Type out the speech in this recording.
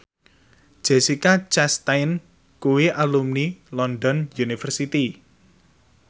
Jessica Chastain kuwi alumni London University